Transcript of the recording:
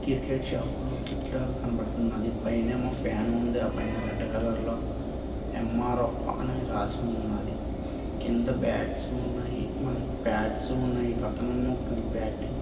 Cricket shop టిక్ లా కనబడుతుంది. పైనేమో ఫ్యాన్ ఉంది. ఆ పైన రెడ్ కలర్ లో ఎం _ఆర్_ ఎఫ్ అని రాసి ఉంది. కింద బాట్స్ ఉన్నాయి .మనకి పాడ్స్ ఉన్నాయి. పక్కనెమో బాట్లు-- ]